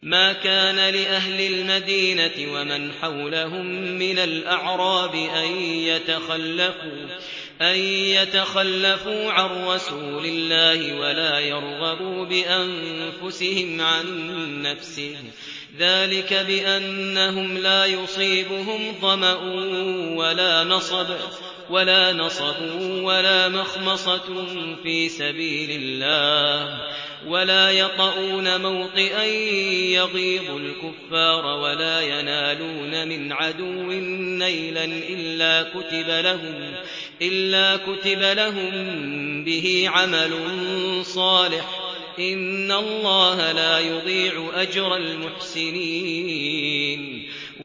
مَا كَانَ لِأَهْلِ الْمَدِينَةِ وَمَنْ حَوْلَهُم مِّنَ الْأَعْرَابِ أَن يَتَخَلَّفُوا عَن رَّسُولِ اللَّهِ وَلَا يَرْغَبُوا بِأَنفُسِهِمْ عَن نَّفْسِهِ ۚ ذَٰلِكَ بِأَنَّهُمْ لَا يُصِيبُهُمْ ظَمَأٌ وَلَا نَصَبٌ وَلَا مَخْمَصَةٌ فِي سَبِيلِ اللَّهِ وَلَا يَطَئُونَ مَوْطِئًا يَغِيظُ الْكُفَّارَ وَلَا يَنَالُونَ مِنْ عَدُوٍّ نَّيْلًا إِلَّا كُتِبَ لَهُم بِهِ عَمَلٌ صَالِحٌ ۚ إِنَّ اللَّهَ لَا يُضِيعُ أَجْرَ الْمُحْسِنِينَ